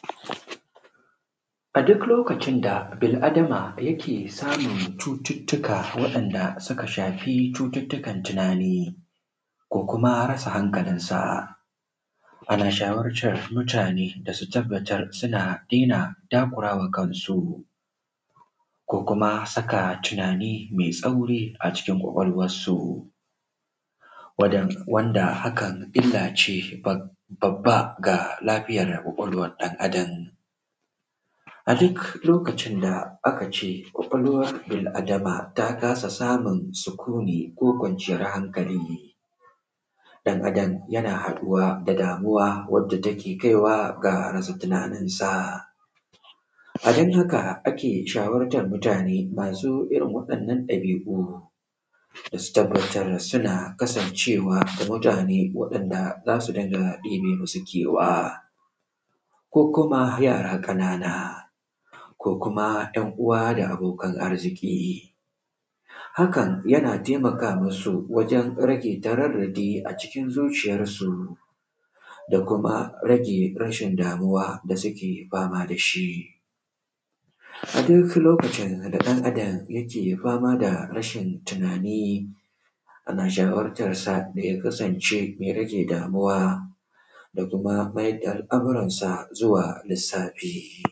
a duk lokacin da bil adama ke samu cututtuka wa’yanda suka shafi cututtukan tunani ko kuma rasa hankali ana shawartan mutune da su tabbatar suna dena takura wa kansu ko kuma saka tunani me tsauri a cikin ƙwaƙwalwansu wanda hakan illace babba ga lafiyar ƙwaƙwalwan ɗan adam a duk lokacin da a kace ƙwaƙwalwan bil adama ta kasa samun sukuni ko kwanciyan hankali ɗan adan yana haɗuwa da damuwa yakaiwa ya rasa tunaninsa adon haka ake shawartan mutune masu irin waɗannan ɗabiu da suna kasancewa tare da wanda za su dinga ɗebe musu kewa ko kuma yara ƙanana ko kuma ‘yan uwa da abokan arziki hakan yana taimaka musu wajen rage tararradi a cikin zuciyansu da ko mu rage yawan damuwa da suke fama da shi a duk lokacin da ɗan adam yake fama da rasa tunani ana shawartansa da takasance me damuwa da kuma mayarda al-amuransa zuwa lissafi.